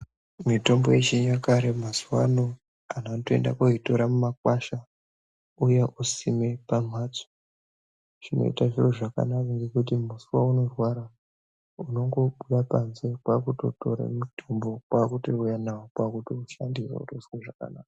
Mitombo yechinyakare mazuva ano antu vanoenda koitora mumakwasha vouya kosime pamhatso. Zvinoita zviro zvakanaka ngekuti musivaunorwara unongobuda panze kwakutotora mutombo kwakutouya navo kwakutoshandirwa kwakutozwe zvakanaka.